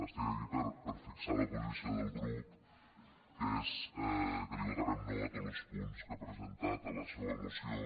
estic aquí per a fixar la posició del grup que és que li votarem no a tots los punts que ha presentat a la seua moció